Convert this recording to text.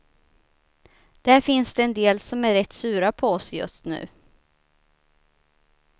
Där finns det en del som är rätt sura på oss just nu.